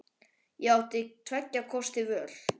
Ég átti tveggja kosta völ.